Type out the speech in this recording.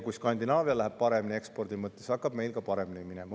Kui Skandinaavial läheb ekspordi mõttes paremini, siis hakkab meil ka paremini minema.